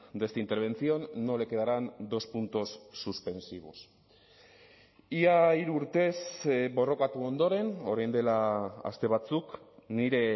de esta intervención no le quedarán dos puntos suspensivos ia hiru urtez borrokatu ondoren orain dela aste batzuk nire